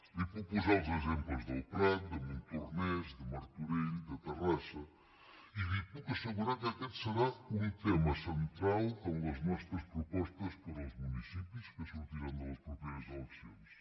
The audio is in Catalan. li puc posar els exemples del prat de montornès de martorell de terrassa i li puc assegurar que aquest serà un tema central en les nostres propostes per als municipis que sortiran de les properes eleccions